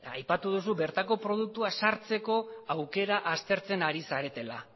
aipatu dozu bertako produktua sartzeko aukera aztertzen ari zaretela